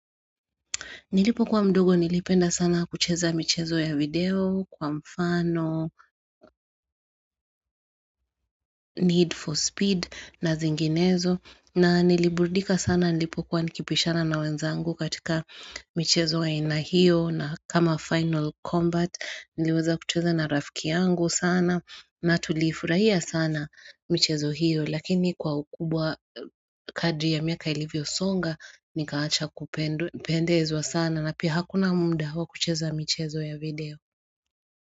Nilipo kuwa mdogo nilipenda sana kucheza michezo ya video kwa mfano, need for speed na zinginezo. Na niliburudika sana nilipo kwa nikipishana na wenzangu katika michezo ya inahio na kama final combat niliweza kucheza na rafiki yangu sana na tulifurahia sana michezo hio. Lakini kwa ukubwa kadri ya miaka ilivyo songa, nikaacha kupende ezwa sana na pia hakuna mnda hawa kucheza michezo ya video.